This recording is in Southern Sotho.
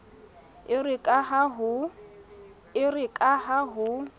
e re ka ha ho